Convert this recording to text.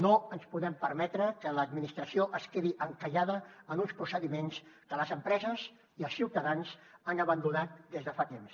no ens podem permetre que l’administració es quedi encallada en uns procediments que les empreses i els ciutadans han abandonat des de fa temps